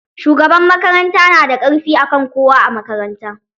Shugaban makaranta na da ƙarfi akan kowa a makaranta.